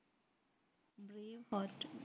part